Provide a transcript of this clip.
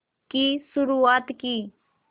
की शुरुआत की